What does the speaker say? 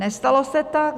Nestalo se tak.